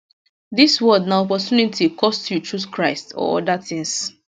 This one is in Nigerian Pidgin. dis world na opportunity cost you choose christ or oda tins